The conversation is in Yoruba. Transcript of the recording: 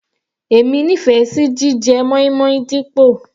Èmi nífẹ̀ẹ́ sí jíjẹ moin-moin dípò.